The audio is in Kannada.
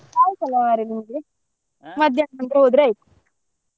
ಅಯ್ತಲ್ಲ ನಂತ್ರ ಹೋದ್ರೆ ಆಯ್ತು.